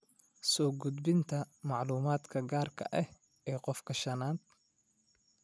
Soo gudbinta macluumaadka gaarka ah ee qofka shanad.